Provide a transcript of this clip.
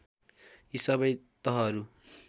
यी सबै तहहरू